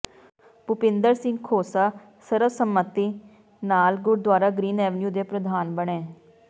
ਭੁਪਿੰਦਰ ਸਿੰਘ ਖੋਸਾ ਸਰਬਸੰਮਤੀ ਨਾਲ gurdwara Green Avenue ਦੇ ਪ੍ਰਧਾਨ ਬਣੇ